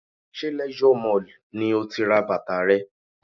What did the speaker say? Ṣé Leisure Mall ni o ti ra bàtà rẹ?